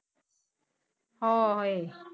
ਹਾਏ।